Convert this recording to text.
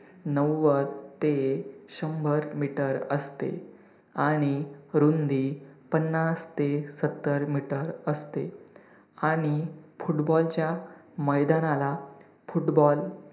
नव्वद ते शंभर meter असते आणि रुंदी पन्नास ते सत्तर meter असते आणि football चा मैदानाला football